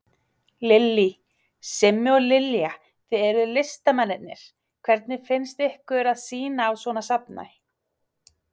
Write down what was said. Lillý: Simmi og Lilja, þið eruð listamennirnir, hvernig finnst ykkur að sýna á svona safni?